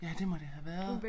Ja det må det have været